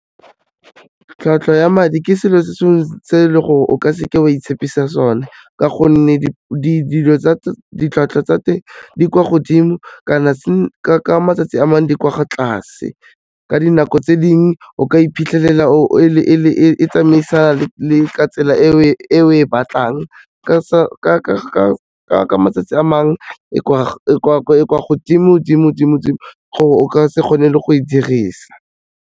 Tlhwatlhwa ya madi ke selo se le gore o ka seke wa itshepisa sone ka gonne, ditlhwatlhwa tsa teng di kwa godimo kana ka matsatsi a mangwe di kwa tlase. Ka dinako tse dingwe o ka iphitlhelela e tsamaisana ka tsela e o e batlang ka matsatsi a mangwe e kwa godimo-dimo-dimo-dimo o ka se kgone le go e dirisa.